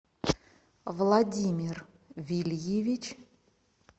владимир вильевич